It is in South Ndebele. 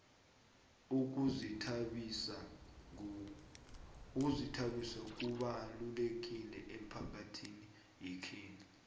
ukuzithabisa kubalukile emphakathini yekhethu